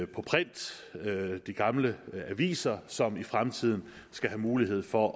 print de gamle aviser som i fremtiden skal have mulighed for